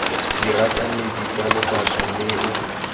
dira kemedi ke lebaka leo